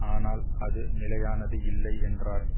ஆனால் அது நிலையானது இல்லை என்றார்